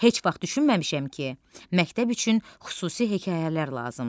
Heç vaxt düşünməmişəm ki, məktəb üçün xüsusi hekayələr lazımdır.